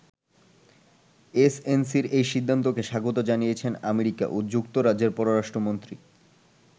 এসএনসি’র এই সিদ্ধান্তকে স্বাগত জানিয়েছেন আমেরিকা ও যুক্তরাজ্যের পররাষ্ট্রমন্ত্রী।